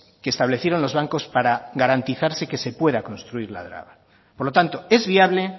que establecieron los bancos para garantizarse que se pueda construir la draga por lo tanto es viable